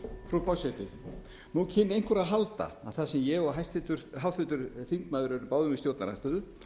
frú forseti nú kynni einhver að halda að þar sem ég og háttvirtur þingmaður eru báðir í stjórnarandstöðu